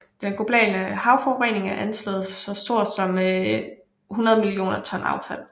Den globale havforurening er anslået så stor som 100 millioner ton affald